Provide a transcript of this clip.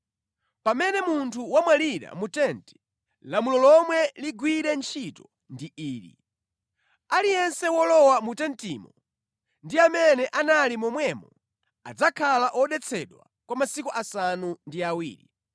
“Pamene munthu wamwalira mu tenti, lamulo lomwe ligwire ntchito ndi ili: Aliyense wolowa mu tentimo ndi amene anali momwemo adzakhala odetsedwa kwa masiku asanu ndi awiri,